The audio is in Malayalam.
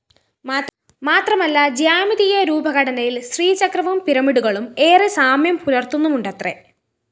മാത്രമല്ല ജിയോമെട്രി രൂപഘടനയില്‍ ശ്രീചക്രവും പിരമിഡുകളും ഏറെ സാമ്യം പുലര്‍ത്തുന്നുമുണ്ടത്രെ